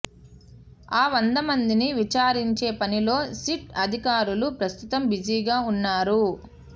ఆ వంద మందిని విచారించే పనిలో సిట్ అధికారులు ప్రస్తుతం బిజీగా ఉన్నారు